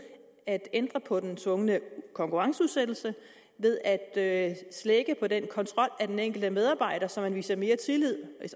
at ændre på den tvungne konkurrenceudsættelse og ved at slække på den kontrol af den enkelte medarbejder så man viser mere tillid